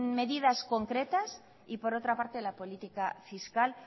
medidas concretas y por otra parte la política fiscal